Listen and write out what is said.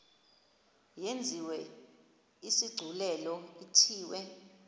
yenziwe isigculelo ithiwe